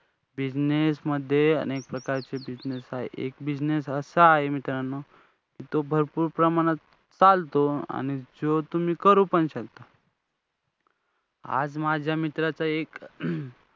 Business मध्ये अनेक प्रकारचे business आहेत. एक business असा आहे मित्रांनो, जो भरपूर प्रमाणात चालतो आणि तो तुम्ही करू पण शकता. आज माझ्या मित्राचा एक